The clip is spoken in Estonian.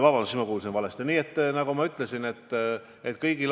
Andres Sutt, palun!